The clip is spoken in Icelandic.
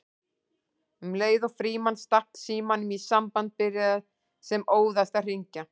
Um leið og Frímann stakk símanum í samband byrjaði sem óðast að hringja